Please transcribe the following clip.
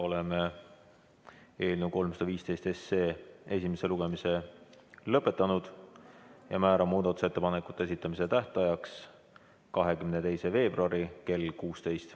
Oleme eelnõu 315 esimese lugemise lõpetanud ja määran muudatusettepanekute esitamise tähtajaks 22. veebruari kell 16.